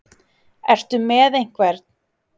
Ertu með einhvern?